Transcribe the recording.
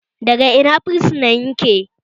Daga Ina fursunan yake?